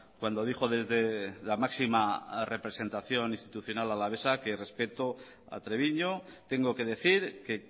cuando dijo desde la máxima representación institucional alavesa que respecto a treviño tengo que decir que